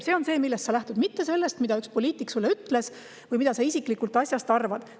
See on see, millest sa lähtud, mitte see, mida üks poliitik sulle ütles või mida sa isiklikult asjast arvad.